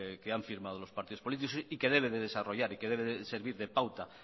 que han firmado los partidos políticos y que debe de desarrollar y que debe de servir de pauta